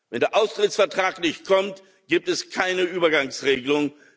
Wenn der Austrittsvertrag nicht kommt, gibt es keine Übergangsregelung.